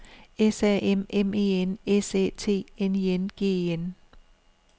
S A M M E N S Æ T N I N G E N